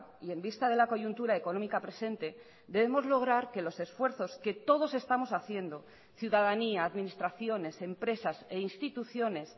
y en vista de la coyuntura económica presente debemos lograr que los esfuerzos que todos estamos haciendo ciudadanía administraciones empresas e instituciones